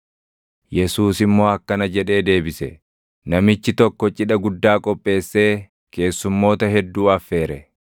Yesuus immoo akkana jedhee deebise; “Namichi tokko cidha guddaa qopheessee keessumoota hedduu affeere.